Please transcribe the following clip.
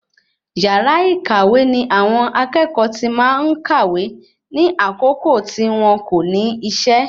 Yàrá ìkàwé ní àwọn akẹ́kọ̀ọ́ tí máa ń kàwé ní àsìkò tí wọn kò ní isẹ́